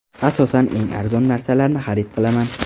Asosan eng arzon narsalarni xarid qilaman.